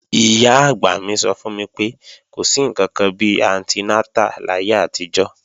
Ìyá-àgbà mi sọ fún mi pé, kò sí ǹkankan bi antinátà láyé àtijọ́